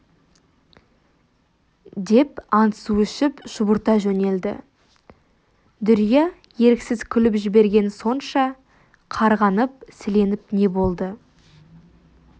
деп ант-су ішіп шұбырта жөнелді дүрия еріксіз күліп жіберген сонша қарғанып-сіленіп не болды